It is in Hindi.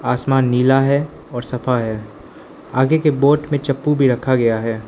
आसमान नीला है और साफा है आगे के बोट में चप्पू भी रखा गया है।